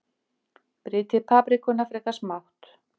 Brytjið paprikuna frekar smátt.